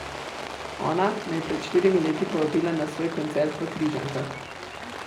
Ona me je pred štirimi leti povabila na svoj koncert v Križankah.